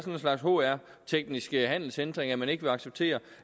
en slags hr teknisk handelshindring at man ikke vil acceptere